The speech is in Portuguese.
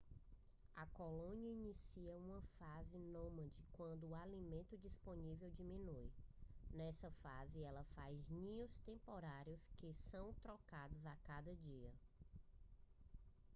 a colônia inicia uma fase nômade quando o alimento disponível diminui nessa fase ela faz ninhos temporários que são trocados a cada dia